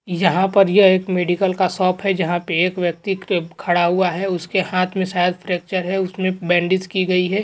यहाँ पर यह एक मेडिकल का शॉप है जहा पे एक व्यक्ति खड़ा हुआ है उसके हात पे शायद फ्रॅक्चर है उसमे बॅन्डेज की गई है।